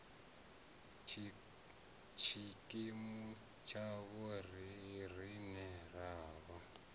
tshikimu tshavho riṋe r avha